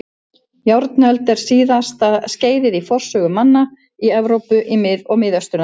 Járnöld er síðasta skeiðið í forsögu manna í Evrópu og Miðausturlöndum.